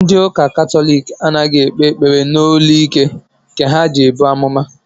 Ndị ụka katọlik anaghị ekpe ekpere n'olu ike nke ha ji ebu amụma